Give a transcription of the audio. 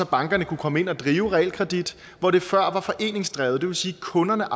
bankerne kunne komme ind og drive realkredit hvor det før var foreningsdrevet det vil sige at kunderne